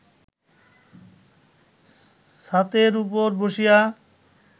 ছাতের উপর বসিয়া